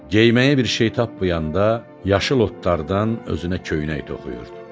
Geyməyə bir şey tapmayanda, yaşıl otlardan özünə köynək toxuyurdu.